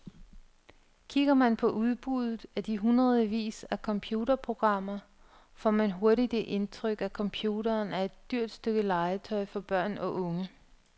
Kigger man på udbuddet af de hundredvis af computerprogrammer, får man hurtigt det indtryk, at computeren er et dyrt stykke legetøj for børn og unge.